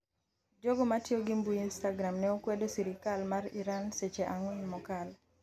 Jogo matiyo gi mbui instagram ne okwedo sirikal mar Iran seche ang'wen mokalo